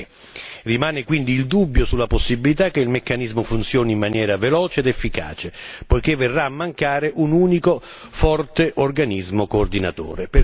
23. Rimane quindi il dubbio sulla possibilità che il meccanismo funzioni in maniera veloce ed efficace poiché verrà a mancare un unico forte organismo coordinatore.